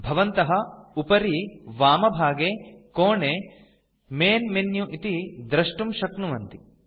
भवन्तः उपरि वामभागे कोणे मैन् मेनु इति द्रष्टुं शक्नुवन्ति